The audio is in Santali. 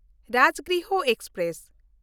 ᱨᱟᱡᱽᱜᱨᱤᱦᱚ ᱮᱠᱥᱯᱨᱮᱥ